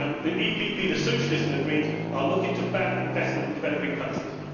The EPP, the Socialists and the Greens are looking to ban investment in developing countries.